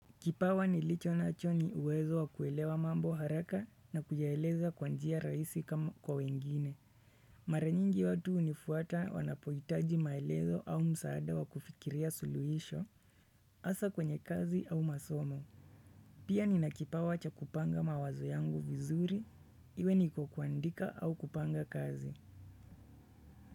Kipawa nilicho nacho ni uwezo wa kuelewa mambo haraka na kuyaeleza kwa njia rahisi kama kwa wengine. Mara nyingi watu hunifuata wanapohitaji maelezo au msaada wa kufikiria suluhisho, hasa kwenye kazi au masomo. Pia nina kipawa cha kupanga mawazo yangu vizuri, iwe niko kuandika au kupanga kazi.